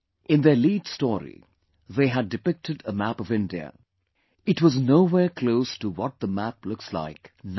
In their lead story, they had depicted a map of India; it was nowhere close to what the map looks like now